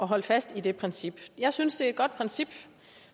holde fast i det princip jeg synes at et godt princip